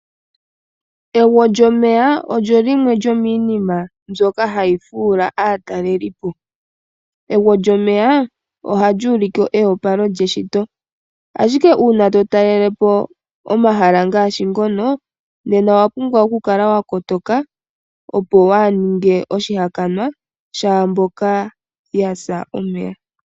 Egwo lyomeya olyo limwe lyomiinima mbyoka hayi fuula aatalelipo. Egwo lyomeya, ohali ulike eyopalo lyeshito. Ashike uuna to talelepo omahala ngaashi ngoka, nena owa pumbwa okukala wa kotoka, opo waa ninge oshihakanwa shaamboka yasa momeya.